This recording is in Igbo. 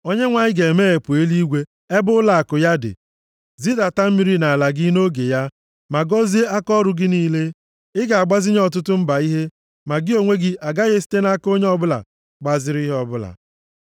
Onyenwe anyị ga-emeghepụ eluigwe ebe ụlọakụ ya dị, zidata mmiri nʼala gị nʼoge ya, ma gọzie akaọrụ gị niile. Ị ga-agbazinye ọtụtụ mba ihe, ma gị onwe gị agaghị esite nʼaka onye ọbụla gbaziri ihe ọbụla.